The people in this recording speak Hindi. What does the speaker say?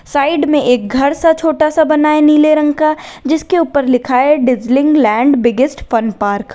साइड में एक घर सा छोटा सा बना है नीले रंग का जिसके ऊपर लिखा है dazzling land biggest fun park --